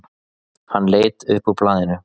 Hann leit upp úr blaðinu.